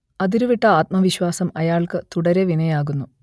അതിരുവിട്ട ആത്മവിശ്വാസം അയാൾക്ക് തുടരെ വിനയാകുന്നു